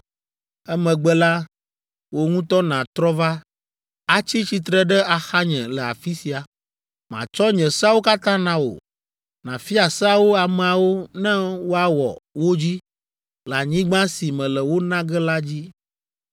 Emegbe la, wò ŋutɔ nàtrɔ va, atsi tsitre ɖe axanye le afi sia, matsɔ nye seawo katã na wò, nàfia seawo ameawo ne woawɔ wo dzi le anyigba si mele wo na ge la dzi.”